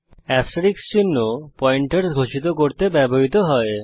asterisk চিহ্ন pointer ঘোষিত করতে ব্যবহৃত হয়েছে